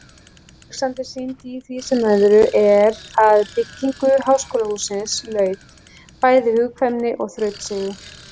Alexander sýndi í því sem öðru, er að byggingu háskólahússins laut, bæði hugkvæmni og þrautseigju.